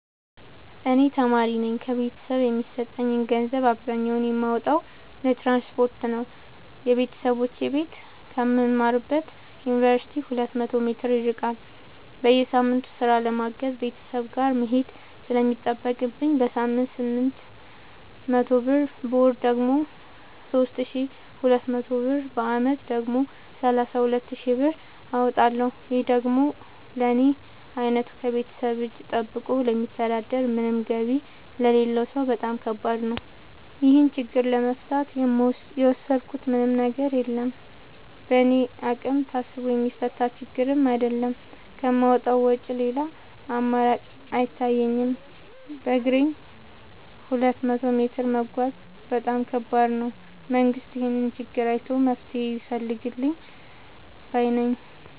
እኔ ተማሪነኝ ከቤተሰብ የሚሰጠኝን ገንዘብ አብዛኛውን የማወጣው ለትራንስፖርት ነው የበተሰቦቼ ቤት ከምማርበት ዮንቨርሲቲ ሁለት መቶ ሜትር ይርቃል። በየሳምቱ ስራ ለማገዝ ቤተሰብ ጋር መሄድ ስለሚጠቅብኝ በሳምንት ስምንት መቶ ብር በወር ደግሞ ሶስት ሺ ሁለት መቶ ብር በአመት ደግሞ ሰላሳ ሁለት ሺ ብር አወጣለሁ ይህ ደግሞ ለኔ አይነቱ ከቤተሰብ እጂ ጠብቆ ለሚተዳደር ምንም ገቢ ለሌለው ሰው በጣም ከባድ ነው። ይህን ችግር ለመፍታት የወሰድኩት ምንም ነገር የለም በእኔ አቅም ታስቦ የሚፈታ ችግርም አይደለም ከማውጣት ውጪ ሌላ አማራጭ አይታየኝም በግሬም ሁለት መቶ ሜትር መጓዝ በጣም ከባድ ነው። መንግስት ይህንን ችግር አይቶ መፍትሔ ቢፈልግልን ባይነኝ።